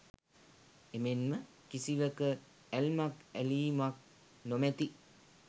එමෙන්ම කිසිවක ඇල්මක් ඇලීමක් නොමැති